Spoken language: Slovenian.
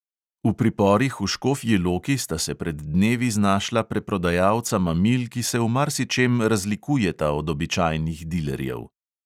V priporih v škofji loki sta se pred dnevi znašla preprodajalca mamil, ki se v marsičem razlikujeta od običajnih dilerjev.